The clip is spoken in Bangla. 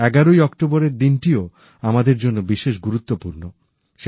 ১১ ই অক্টোবরের দিনটিও আমাদের জন্য বিশেষ গুরুত্বপূর্ণ